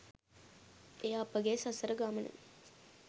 එය අපගේ සසර ගමන